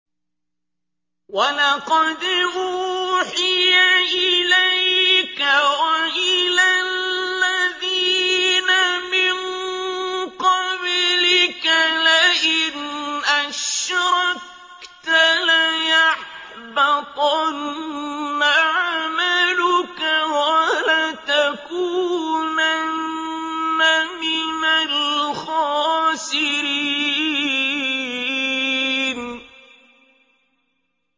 وَلَقَدْ أُوحِيَ إِلَيْكَ وَإِلَى الَّذِينَ مِن قَبْلِكَ لَئِنْ أَشْرَكْتَ لَيَحْبَطَنَّ عَمَلُكَ وَلَتَكُونَنَّ مِنَ الْخَاسِرِينَ